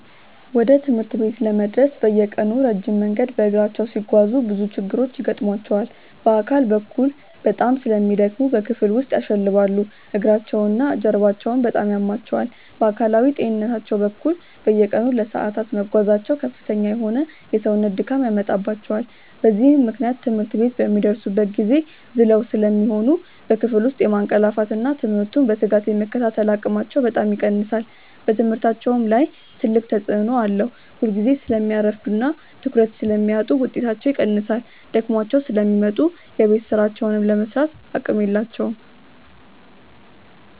ወደ ትምህርት ቤት ለመድረስ በየቀኑ ረጅም መንገድ በእግራቸው ሲጓዙ ብዙ ችግሮች ይገጥሟቸዋል። በአካል በኩል በጣም ስለሚደክሙ በክፍል ውስጥ ያሸልባሉ፤ እግራቸውና ጀርባቸውም በጣም ያማቸዋል። በአካላዊ ጤንነታቸው በኩል፣ በየቀኑ ለሰዓታት መጓዛቸው ከፍተኛ የሆነ የሰውነት ድካም ያመጣባቸዋል። በዚህም ምክንያት ትምህርት ቤት በሚደርሱበት ጊዜ ዝለው ስለሚሆኑ በክፍል ውስጥ የማንቀላፋትና ትምህርቱን በትጋት የመከታተል አቅማቸው በጣም ይቀንሳል። በትምህርታቸውም ላይ ትልቅ ተጽዕኖ አለው፤ ሁልጊዜ ስለሚያረፍዱና ትኩረት ስለሚያጡ ውጤታቸው ይቀንሳል። ደክሟቸው ስለሚመጡ የቤት ሥራቸውን ለመሥራትም አቅም የላቸውም።